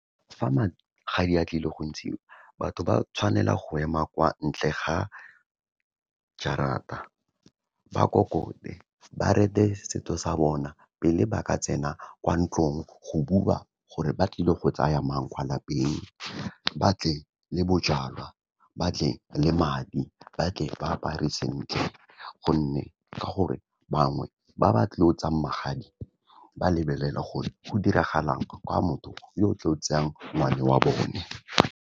Fa magadi a tlile go ntshiwa batho ba tshwanela go ema kwa ntle ga jarata, ba kokote, ba rete setso sa bona, pele ba ka tsena kwa ntlong go bua gore ba tlile go tsaya mang kwa lapeng. Ba tle le bojalwa, batle le madi, ba tle ba apare sentle. Gonne ka gore bangwe ba ba tlo tsayang magadi ba lebelela gore go diragalang kwa motho yo o tlo tseyang ngwana wa bone.